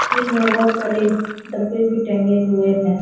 कील में बहुत सारे डब्बे भी टंगे हुए हैं।